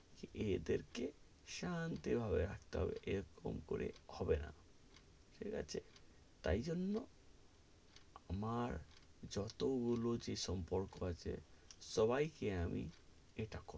এদের কে শান্তি ভাবে রাখতে হবে এরকম করে হবে না, ঠিক আছে তাই জন্য আমার যত গুলো যে সম্পর্ক আছে সবাই কে আমি ইটা,